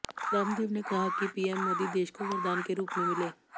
रामदेव ने कहा पीएम मोदी देश को वरदान के रुप में मिले